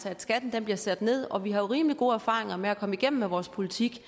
at skatten bliver sat ned og vi har jo rimelig gode erfaringer med at komme igennem med vores politik